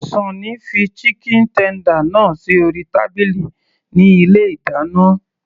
Sunny fi chicken tender náà sí orí tábìlì ní ilé ìdáná